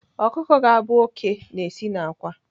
Ọkụkọ ga-abụ oké na-esi n'àkwá.